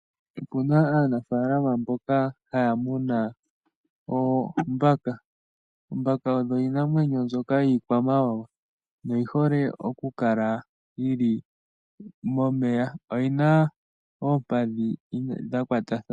Opuna aanafalama mboka haya munu oombaka. Oombaka odho iinamwenyo mbyoka yiikwamawawa noyi hole oku kala yi li momeya. Oyina oompadhi dha kwatathana.